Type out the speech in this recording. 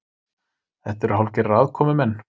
Þetta eru hálfgerðir aðkomumenn